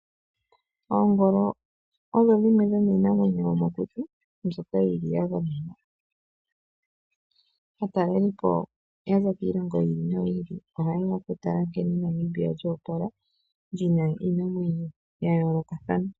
Oongolo odho dhimwe dhomiinamwenyo yomokuti, mbyoka yili ya gamenwa. Aatalelipo yaza kiilongo yi ili noyi ili, ohayeya okutala nkene Namibia lyo opala, lyina iinamwenyo yayoolokathana.